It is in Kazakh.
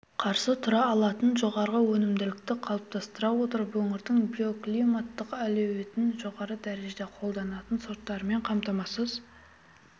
қарсы тұра алатын жоғары өнімділікті қалыптастыра отырып өңірдің биоклиматтық әлеуетін жоғары дәрежеде қолданатын сорттармен қамтамасыз